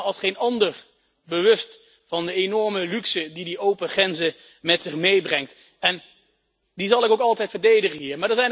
Ik ben me dus als geen ander bewust van de enorme luxe die de open grenzen met zich meebrengen, en die zal ik ook altijd verdedigen hier.